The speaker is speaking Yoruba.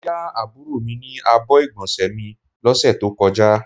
Mó yà àbúrò mi ní àbọ̀ igbonse mí lọ ṣe tó kọjá